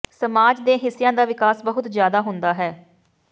ਸਮਾਜ ਦੇ ਹਿੱਸਿਆਂ ਦਾ ਵਿਕਾਸ ਬਹੁਤ ਜਿਆਦਾ ਹੁੰਦਾ ਹੈ